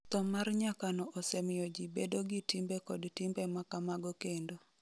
Tho mar nyakono osemiyo ji bedo gi timbe kod timbe ma kamago kendo.